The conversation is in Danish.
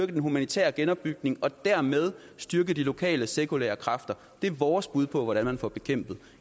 den humanitære genopbygning og dermed styrke de lokale sekulære kræfter det er vores bud på hvordan man får bekæmpet